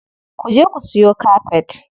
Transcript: Ku je ku siyo kafet.